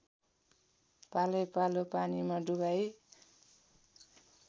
पालैपालो पानीमा डुबाई